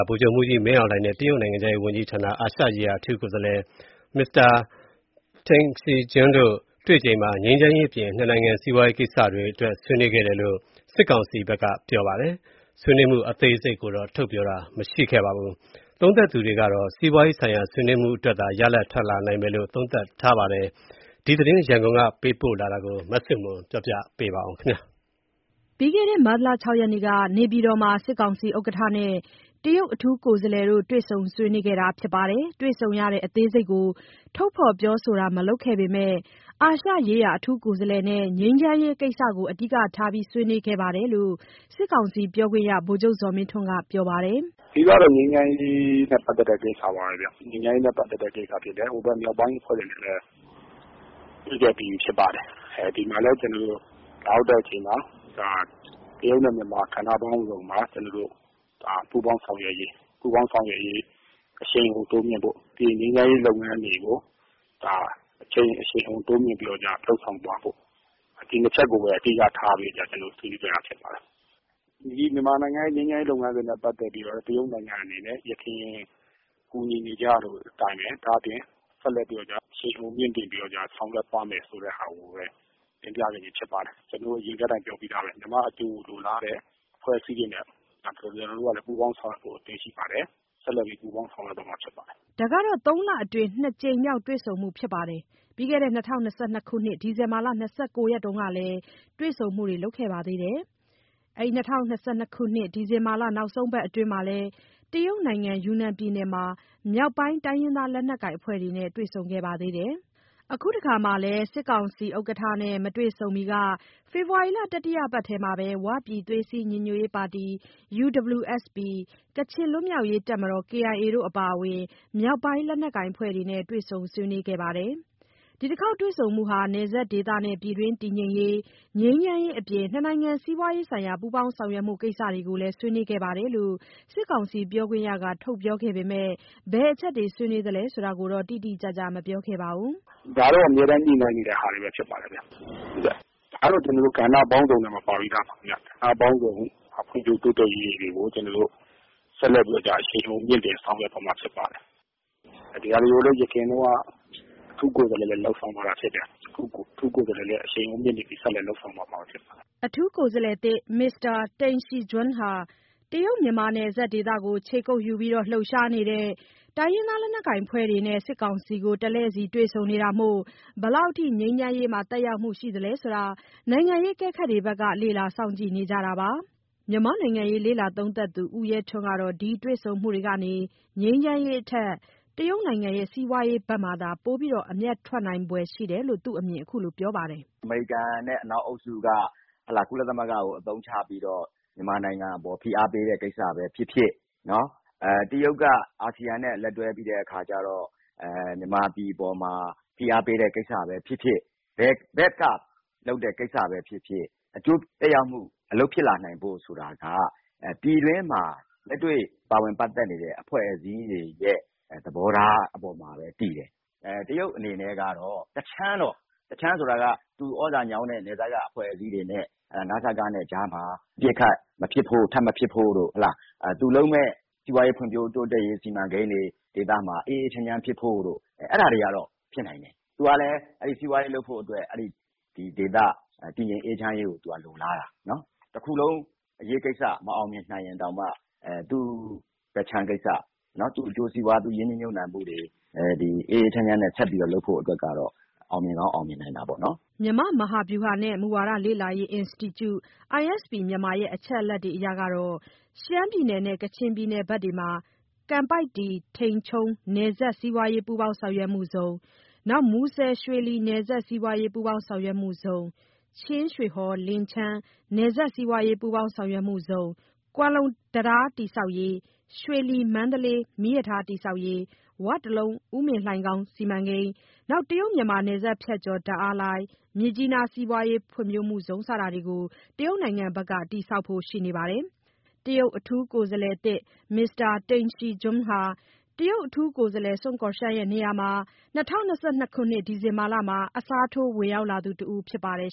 ဗိုလ်ချုပ်မှူးကြီး မင်းအောင်လှိုင်နဲ့ တရုတ်နိုင်ငံခြားရေးဝန်ကြီးဌာန အာရှရေးရာ အထူးကိုယ်စားလှယ် Mr. Deng Xijun တို့ တွေ့ချိန်မှာ ငြိမ်းချမ်းရေးအပြင် နှစ်နိုင်ငံစီးပွားရေးကိစ္စတွေ အတွက်ဆွေးနွေးခဲ့တယ်လို့ စစ်ကောင်စီဘက်က ပြောပါတယ်။ ဆွေးနွေးမှု အသေးစိတ်ကိုတော့ ထုတ်ပြောတာမရှိပါဘူး။ သုံးသပ်သူတွေကတော့ စီးပွားရေးဆိုင်ရာဆွေးနွေးမှုအတွက်သာ ရလဒ်တွေထွက်လာနိုင်မယ်လို့ သုံးသပ်ပါတယ်။ ဒီသတင်းရန်ကုန်ကပေးပို့လာတာကို မဆုမွန်က ပြောပြပေးမှာပါ။ ပြီးခဲ့တဲ့ မတ်လ ၆ ရက်က နေပြည်တော်မှာ စစ်ကောင်စီဥက္ကဋ္ဌနဲ့ တရုတ်အထူးကိုယ်စားလှယ်တို့ တွေ့ဆုံဆွေးနွေးခဲ့တာပါ။ တွေ့ဆုံရတဲ့ အသေးစိတ်ကိုတော့ ထုတ်ဖော်ပြောဆိုတာ မလုပ်ခဲ့ပေမယ့် အာရှရေးရာ အထူးကိုယ်စားလှယ်နဲ့ ငြိမ်းချမ်းရေးကိစ္စကို အဓိကထား ဆွေးနွေးတယ်လို့ စစ်ကောင်စီ ပြောခွင့်ရ ဗိုလ်ချုပ် ဇော်မင်းထွန်းက ပြောပါတယ်။ "အဓိကကတော့ ငြိမ်းချမ်းရေးနဲ့ပတ်သတ်တဲ့ကိစ္စပါပဲဗျ၊ ဟိုဖက်မြောက်ပိုင်းအဖွဲ့တွေနဲ့လည်း တွေ့ခဲ့ပြီးပြီဖြစ်ပါတယ်။ ဒီမှာလည်းအခုလာရောက်တဲ့အချိန်မှာ တရုတ်နဲ့မြန်မာ ကဏ္ဍပေါင်းစုံမှာ ကျွန်တော်တို့ ပူးပေါင်းဆောင်ရွက်ရေး အရှိန်အဟုန်တိုးမြင့်ဖို့၊ ပြီးရင် ငြိမ်းချမ်းရေးလုပ်ငန်းတွေကို အရှိန်အဟုန်တိုးမြှင့်ပြီးတော့ လုပ်ဆောင်သွားဖို့ ဒီနှစ်ချက်ကိုပဲ အဓိကထားပြီးတော့ ဆွေးနွေးခဲ့တာဖြစ်ပါတယ်။ မြန်မာနိုင်ငံရဲ့ငြိမ်းချမ်းရေးလုပ်ငန်းစဉ်နဲ့ပတ်သတ်ပြီးတော့ တရုတ်နိုင်ငံအနေနဲ့ ယခင်ကူညီနေကျအတိုင်းပဲ ဒါ့အပြင်ဆက်လက်ပြီးတော့ကျ အရှိန်အဟုန်မြှင့်တင်ပြီးတော့ကျ ဆောင်ရွက်သွားမယ်ဆိုတဲ့ဟာကိုပဲ တင်ပြခဲ့တာဖြစ်ပါတယ်။ ကျွန်တော်အရင်ကတည်းကအတိုင်းပြောပြီးသားပဲ မြန်မာ့အကျိုးကိုလိုလားတဲ့ အဖွဲ့အစည်းတွေနဲ့ပူးပေါင်းဆောင်ရွက်ဖို့ ကျွန်တော်တို့ကလည်း အသင့်ရှိပါတယ်။ ဆက်လက်ပြီးပူးပေါင်းဆောင်ရွက်သွားမှာဖြစ်ပါတယ်။" ဒါဟာ သုံးလအတွင်း နှစ်ကြိမ်မြောက်တွေ့ဆုံမှုဖြစ်ပြီး ၂၀၂၂ ခုနှစ် ဒီဇင်ဘာလ နောက်ဆုံးပတ်အတွင်း တရုတ်နိုင်ငံယူနန် ပြည်နယ်မှာ မြောက်ပိုင်းတိုင်းရင်းသားလက်နက်ကိုင် အဖွဲ့တွေနဲ့ တွေ့ဆုံခဲ့ပါ သေးတယ်။ အခုတခါမှာလည်း စစ်ကောင်စီဥက္ကဋ္ဌ နဲ့ မတွေ့ဆုံမီက ဖေဖော်ဝါရီလ တတိယပတ်ထဲမှာ ၀ ပြည်သွေးစည်းညီညွတ်ရေးပါတီ ၊ ကချင်လွတ်မြောက်ရေးတပ်မတော် တို့အပါအဝင် မြောက်ပိုင်းလက်နက်ကိုင်အဖွဲ့တွေနဲ့ တွေ့ဆုံ ဆွေးနွေးခဲ့ပါတယ်။ ဒီတခေါက်တွေ့ဆုံမှုမှာ နယ်စပ်ဒေသနဲ့ ပြည်တွင်းတည်ငြိမ်ရေး၊ ငြိမ်းချမ်းရေးအပြင် နှစ်နိုင်ငံစီးပွား ရေးဆိုင်ရာ ပူးပေါင်း ဆောင်ရွက်မှုကိစ္စတွေကိုလည်း ဆွေးနွေးခဲ့တယ်လို့ စစ်ကောင်စီပြောခွင့်ရက ထုတ်ပြောပေမယ့် ဘယ်အချက်တွေ ဆွေးနွေးလဲဆိုတာကိုတော့ တိတိကျကျ မပြောခဲ့ပါဘူး။ "ဒါကတော့ အမြဲတမ်းညှိနှိုင်းနေတဲ့ကိစ္စတွေဖြစ်ပါတယ်ဗျ၊ ကဏ္ဍပေါင်းစုံထဲမှာ ပါပြီးသားပါခင်ဗျ၊ ကဏ္ဍပေါင်းစုံ ဖွံ့ဖြိုးတိုးတက်ရေးတွေကို ဆက်လက်ပြီးတော့ကျ အရှိန်အဟုန်မြှင့်တင်ဆောင်ရွက်သွားမှာဖြစ်ပါတယ်၊ ဒီဟာတွေကိုအရင်တုန်းက အထူးကိုယ်စားလှယ်လည်းလုပ်ဆောင်သွားတာဖြစ်တယ်၊ အခုအထူးကိုယ်စားလှယ်လည်း အရှိန်အဟုန်မြှင့် ဆက်လက်လုပ်ဆောင်သွားမှာဖြစ်ပါတယ်။ " အထူးကိုယ်စားလှယ်သစ် Mr. Deng Xijun ဟာ တရုတ်- မြန်မာနယ်စပ်ဒေသကို ခြေကုတ်ယူ လှုပ်ရှားနေတဲ့ တိုင်းရင်းသား လက်နက်ကိုင်အဖွဲ့တွေနဲ့ စစ်ကောင်စီကို တစ်လှည့်စီတွေ့ဆုံနေတာမို့ ဘယ်လောက်ထိ ငြိမ်းချမ်းရေးမှာ သက်ရောက်မှု ရှိမလဲဆိုတာ နိုင်ငံရေးအကဲခတ် တွေဘက်က လေ့လာစောင့်ကြည့်နေကြတာပါ။ မြန်မာ့နိုင်ငံရေးလေ့လာသုံးသပ်သူ ဦးရဲထွန်းကတော့ ဒီတွေ့ဆုံမှုတွေကနေ ငြိမ်းချမ်းရေးထက် တရုတ်နိုင်ငံစီးပွားရေး ဘက်မှာသာ ပိုအမြတ်ထွက်လာနိုင်ဖွယ်ရှိတယ်လို့ သူ့အမြင်ကို ခုလိုပြောပြပါတယ်။ "အမေရိကန်နဲ့အနောက်အုပ်စုက ကုလသမဂ္ဂကိုအသုံးချပြီးတော့ မြန်မာနိုင်ငံအပေါ်ဖိအားပေးတဲ့ကိစ္စပဲဖြစ်ဖြစ် တရုတ်ကအာဆီယံနဲ့လက်တွဲပြီးတဲ့အခါကျတော့ မြန်မာပြည်အပေါ်မှာ ဖိအားပေးတဲ့ကိစ္စပဲဖြစ်ဖြစ် ဘယ်ဖက်ကလုပ်တဲ့ကိစ္စပဲဖြစ်ဖြစ် အကျိုးသက်ရောက်မှု အလုပ်ဖြစ်လာနိုင်ဖို့ဆိုတာက ပြည်တွင်းမှာလက်တွေ့ပါဝင်ပတ်သတ်နေတဲ့ အဖွဲ့အစည်းတွေရဲ့ သဘောထားအပေါ်မှာပဲတည်တယ်။ တရုတ်အနေနဲ့ကတော့ တခြမ်းတော့၊ တခြမ်းဆိုတာက သူဩဇာညောင်းတဲ့ နယ်စပ်ကအဖွဲ့အစည်းတွေနဲ့ နစကနဲ့ကြားမှာ အပစ်အခတ်မဖြစ်ဖို့ ထပ်မဖြစ်ဖို့တို့ ၊ သူလုပ်မယ့်စီးပွားရေးဖွံ့ဖြိုးမယ့်စီမံကိန်းတွေ ဒေသမှာ အေးအေးချမ်းချမ်းဖြစ်ဖို့တို့ ၊ အဲဒါတွေကတော့ဖြစ်နိုင်တယ်။ သူကလည်းစီးပွားရေးလုပ်ဖို့အတွက် ဒေသတည်ငြိမ်အေးချမ်းရေးကိုလိုလားတာ။ တစ်ခုလုံးအရေးကိစ္စမအောင်မြင်နိုင်ရင်တောင်မှ သူ့ဖက်ခြမ်းကိစ္စ၊ သူ့စီးပွား၊ သူ့ရင်းနှီးမြှပ်နှံမှုတွေ အေးအေးချမ်းချမ်းနဲ့ဆက်ပြီးတော့ လုပ်ဖို့အတွက်ကတော့ အောင်မြင်ကောင်းအောင်မြင်နိုင်တာပေါ့နော်" မြန်မာ့မဟာဗျူဟာနှင့် မူဝါဒလေ့လာရေး အင်စတီကျု အချက်အလက်အရ ရှမ်းပြည်နယ်နဲ့ကချင်ပြည်နယ်ဘက်တွေမှာ ကန်ပိုက်တီ-ထိန်ချုံး နယ်စပ် စီးပွားရေး ပူးပေါင်းဆောင်ရွက်မှုဇုန်၊ မူဆယ်-ရွှေလီ နယ်စပ်စီးပွားရေး ပူးပေါင်းဆောင်ရွက်မှုဇုန်၊ ချင်းရွှေဟော်-လင်ချန်း နယ်စပ်စီးပွားရေး ပူးပေါင်းဆောင်ရွက်မှုဇုန်၊ ကွမ်းလုံတံတား တည်ဆောက်ရေး၊ ရွှေလီ-မန္တလေး မီးရထားလမ်း တည်ဆောက်ရေး၊ ဝ တလုံး ဥမင်လှိုင်ခေါင်း စီမံကိန်း၊ တရုတ်-မြန်မာနယ်စပ် ဖြတ်ကျော် ဓာတ်အားလိုင်း၊ မြစ်ကြီးနား စီးပွားရေးဖွံ့ဖြိုးမှုဇုန်တို့ကို တရုတ်နိုင်ငံဘက်က တည်ဆောက်ဖို့ ရှိနေပါတယ်။ အထူးကိုယ်စားလှယ်သစ် Mr. Deng Xijun ဟာ တရုတ်အထူးကိုယ်စားလှယ် Mr. Sun Guoxiang ရဲ့နေရာကို ၂၀၂၂ ခုနှစ် ဒီဇင်ဘာလမှာ အစားထိုးဝင် ရောက်လာတဲ့သူတဦး ဖြစ်ပါတယ်